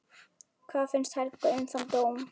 Hvað fannst Helga um þann dóm?